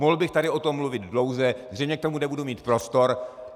Mohl bych tady o tom mluvit dlouze, zřejmě k tomu nebudu mít prostor.